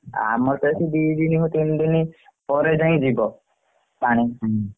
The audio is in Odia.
ଆମର ତ ଏଠି ଦି ଦିନ ତିନି ଦିନ ପରେ ଯାଇ ଯିବ ପାଣି।